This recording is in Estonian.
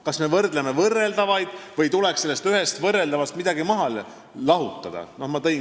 Kas me võrdleme võrreldavaid või tuleks ühest võrreldavast midagi maha lahutada?